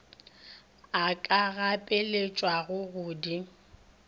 a ka gapeletšwago go di